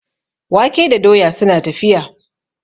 wake da doya suna tafiya